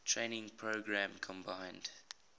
training program combined